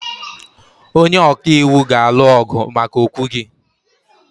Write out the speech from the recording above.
Onye ọka iwu ga-alụ ọgụ maka okwu gị.